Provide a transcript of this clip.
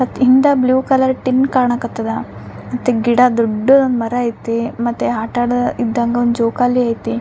In the blue colour tin ಕಾಣಕತ್ತದ ಮತ್ತೆ ಗಿಡ ದೊಡ್ಡದೊಂದು ಮರ ಐತಿ ಮತ್ತೆ ಆಟ ಆಡ ಇದ್ದಾಗ ಜೋಕಾಲಿ ಐತಿ.